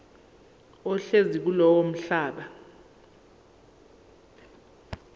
ohlezi kulowo mhlaba